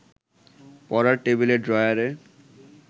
পড়ার টেবিলের ড্রয়ারে